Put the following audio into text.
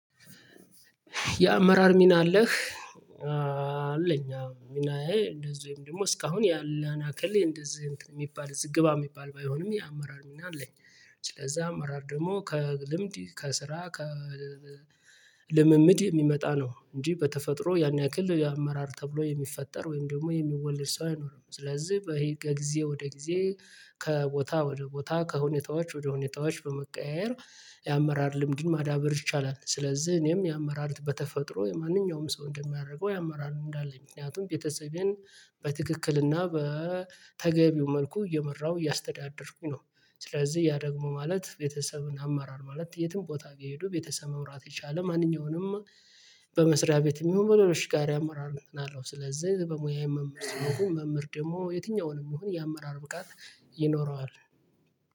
የአመራር ሚና አለህ? አለኝ አዎ ሚናዬ እንደዚህ ወይም ደግሞ እስካሁን ያለን አክል እንደዚህ የሚባል እዚህ ግባ የሚባል ባይሆንም የአመራር ሚና አለኝ። ስለዛ አመራር ደግሞ ከልምድ ከስራ ከልምምድ የሚመጣ ነው እንጂ በተፈጥሮ ያን ያክል የአመራር ተብሎ የሚፈጠር ወይም ደግሞ የሚወለድ ሰው አይኖርም። ስለዚህ ከጊዜ ወደ ጊዜ ከቦታ ወደ ቦታ ከሁኔታዎች ወደ ሁኔታዎች በመቀያየር የአመራር ልምድን ማዳበር ይቻላል። ስለዚህ እኔም የአመራር በተፈጥሮ የማንኛውም ሰው እንደሚያደርገው የአመራር ልምድ አለኝ ምክንያቱም ቤተሰቤን በትክክልና በተገቢው መልኩ እየመራሁ እያስተዳደርኩኝ ነው። ስለዚህ ያ ደግሞ ማለት ቤተሰብን አመራር ማለት የትም ቦታ ቢሄዱ ቤተሰብ መምራት የቻለ ማንኛውንም በመስሪያ ቤትም ይሁን በሌሎች ጋር አማራር ነው ያለው። ስለዚህ በሙያዬ መምህር ስለሆንኩ መምህር ደግሞ የትኛውንም ይሁን የአመራር ብቃት ይኖረዋል።